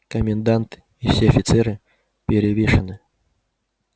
комендант и все офицеры перевешаны